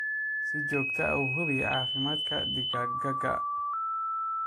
Si joogto ah u hubi caafimaadka digaaggaaga.